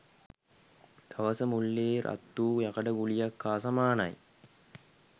දවස මුළුල්ලේ රත් වූ යකඩ ගුලියක් හා සමානයි.